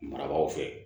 Marabagaw fɛ